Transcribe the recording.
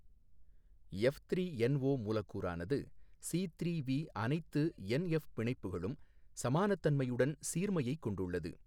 F three N O மூலக்கூறானது C three V அனைத்து N F பிணைப்புகளும் சமானத்தன்மையைுடன் சீர்மையைக் கொண்டுள்ளது.